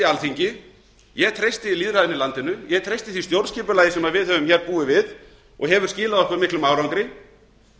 alþingi ég treysti lýðræðinu í landinu ég treysti því stjórnskipulagi sem við höfum hér búið við og hefur skilað okkur miklum árangri